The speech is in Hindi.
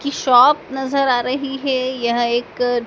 की शॉप नजर आ रही है यह एक--